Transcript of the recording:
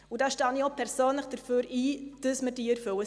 Ich stehe auch persönlich dafür ein, dass wir diese erfüllen.